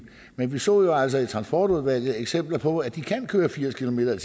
men vi så jo altså i transportudvalget eksempler på at de kan køre firs kilometer